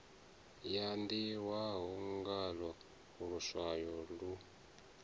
ya ḓihwa ngaḽo luswayo lu